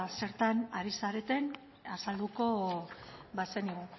zertan ari zareten azalduko bazenigu